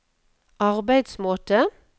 arbeidsmåte